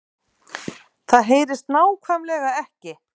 Það HEYRIST NÁKVÆMLEGA EKKI